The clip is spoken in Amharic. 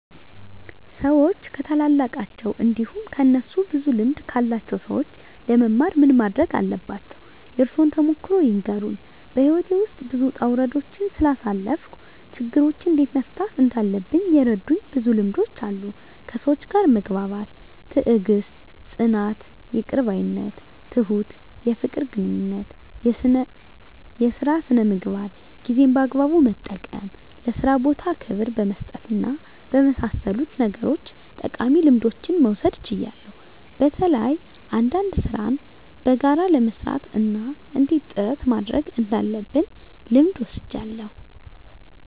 ሰዎች ከታላላቃቸው እንዲሁም ከእነሱ ብዙ ልምድ ካላቸው ሰዎች ለመማር ምን ማረግ አለባቸው? የእርሶን ተሞክሮ ይንገሩን? *በሕይወቴ ውስጥ ብዙ ውጣ ውረዶችን ስላሳለፍኩ፣ ችግሮችን እንዴት መፍታት እንዳለብኝ የረዱኝ ብዙ ልምዶች አሉ፤ ከሰዎች ጋር መግባባት፣ ትዕግስት፣ ጽናት፣ ይቅር ባይነት፣ ትሁት፣ የፍቅር ግንኙነት፣ የሥራ ሥነ ምግባር፣ ጊዜን በአግባቡ መጠቀም፣ ለሥራ ቦታ ክብር በመስጠትና በመሳሰሉት ነገሮች ጠቃሚ ልምዶችን መውሰድ ችያለሁ። በተለይ አንዳንድ ሥራን በጋራ ለመሥራት እና እንዴት ጥረት ማድረግ እንዳለብ ልምድ ወስጃለሁ።